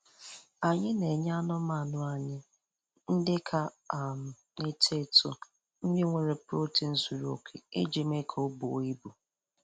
Anyị na-enye anụmanụ anyị ndị ka um na-eto eto nri nwere protein zuru oke iji mee ka buo ibu